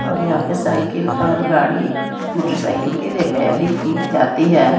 और यहां पे साइकिल और गाड़ी मोटरसाइकिल के रिपेयरिंग की जाती है।